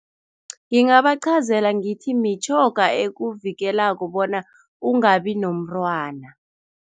Ngingabaqhazela ngithi mitjhoga ekuvikelako bona ungabi nomntwana.